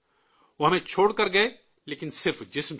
وہ ہمیں چھوڑ کر گئے، لیکن صرف جسم سے